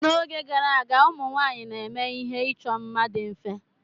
N'oge gara aga, ụmụ nwanyị na-eme ihe ịchọ mma dị mfe.